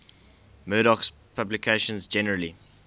murdoch's publications generally